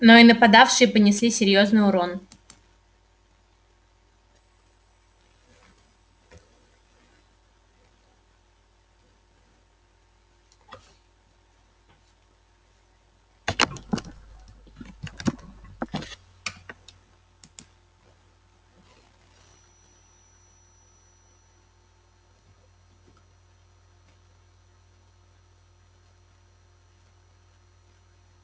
но и нападавшие понесли серьёзный урон